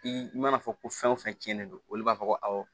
I mana fɔ ko fɛn o fɛn tiɲɛnen don olu b'a fɔ ko awɔ